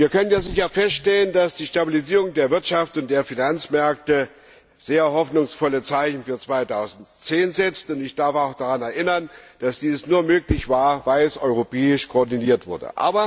Wir können sicher feststellen, dass die Stabilisierung der Wirtschaft und der Finanzmärkte sehr hoffnungsvolle Zeichen für 2010 setzt, und ich darf auch daran erinnern, dass dies nur möglich war, weil es europäisch koordiniert wurde.